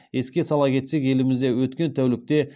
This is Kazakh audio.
еске сала кетсек елімізде өткен тәулікте